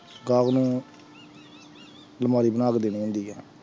ਗਾਹਕ ਨੂੰ ਅਲਮਾਰੀ ਬਣਾ ਕੇ ਦੇਣੀ ਹੁੰਦੀ ਹੈ।